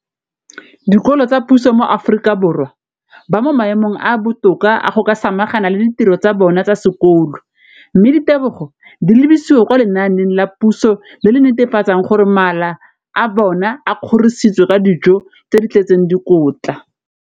dikolo tsa puso mo Aforika Borwa ba mo maemong a a botoka a go ka samagana le ditiro tsa bona tsa sekolo, mme ditebogo di lebisiwa kwa lenaaneng la puso le le netefatsang gore mala a bona a kgorisitswe ka dijo tse di tletseng dikotla.